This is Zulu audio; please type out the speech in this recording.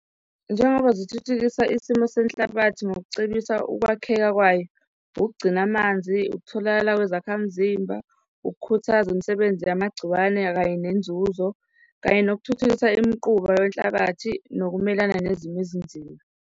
Njengoba zithuthukisa isimo senhlabathi ngizokucebisa ukwakheka kwayo, ukugcina amanzi, ukutholakala kwezakhamzimba, ukukhuthaza imisebenzi yamagciwane kanye nenzuzo, kanye nokuthuthukisa imiquba wenhlabathi, nokumelana nezimo ezinzima.